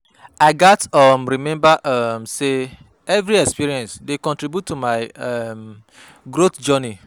I gats um remember um say every experience dey contribute to my um growth journey.